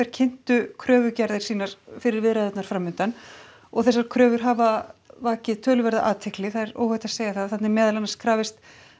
kynntu kröfugerðir sínar fyrir viðræðurnar framundan og þessar kröfur hafa vakið töluverða athygli það er óhætt að segja það þarna er meðal annars krafist